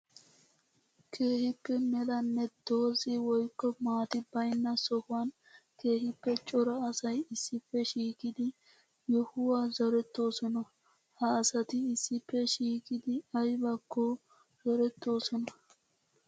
Keehippe melanne doozi woykko maati baynna sohuwan keehippe cora asay issippe shiiqqiddi yohuwa zorettosonna. Ha asatti issippe shiiqqiddi aybbakko zorettosonna.